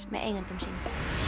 með eigendum sínum